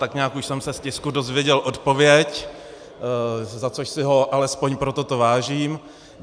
Tak nějak už jsem se z tisku dozvěděl odpověď, za což si ho alespoň pro toto vážím.